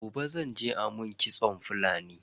Gobe zan je a mun kitson Fulani.